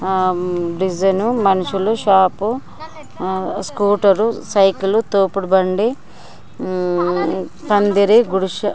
ఆమ్ vision మనుషులు shop ఆ scooter cycle తోపుడు బండి ఉమ్ పందిరి గుడిస--